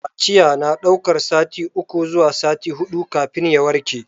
Kaciya na daukar sati uku zuwa sati hudu kafin ya warke.